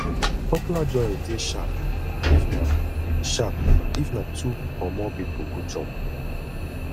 popular joints de sharp if na sharp if na two or more pipo go chop